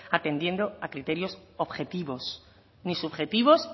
atendiendo a criterios objetivos ni subjetivos